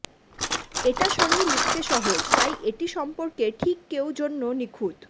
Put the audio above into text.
এটা সঙ্গে লিখতে সহজ তাই এটি সম্পর্কে ঠিক কেউ জন্য নিখুঁত